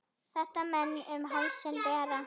Þetta menn um hálsinn bera.